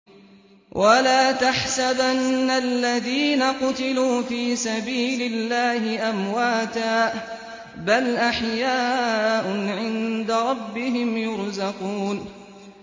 وَلَا تَحْسَبَنَّ الَّذِينَ قُتِلُوا فِي سَبِيلِ اللَّهِ أَمْوَاتًا ۚ بَلْ أَحْيَاءٌ عِندَ رَبِّهِمْ يُرْزَقُونَ